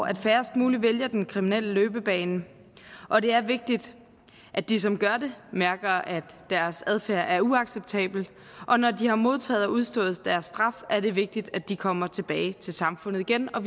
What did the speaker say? at færrest mulige vælger den kriminelle løbebane og det er vigtigt at de som gør det mærker at deres adfærd er uacceptabel og når de har modtaget og udstået deres straf er det vigtigt at de kommer tilbage til samfundet igen og